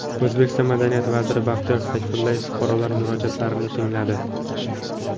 O‘zbekiston madaniyat vaziri Baxtiyor Sayfullayev fuqarolar murojaatlarini tingladi .